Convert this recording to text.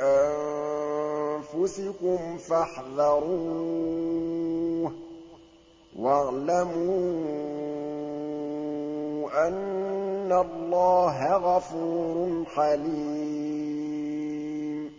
أَنفُسِكُمْ فَاحْذَرُوهُ ۚ وَاعْلَمُوا أَنَّ اللَّهَ غَفُورٌ حَلِيمٌ